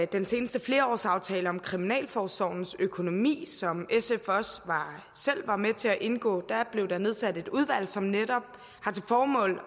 den seneste flerårsaftale om kriminalforsorgens økonomi som sf også selv var med til at indgå blev der nedsat et udvalg som netop har til formål